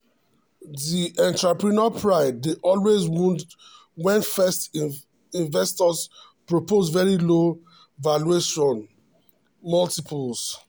di entrepreneur pride dey always wound when first investors propose very low valuation multiples.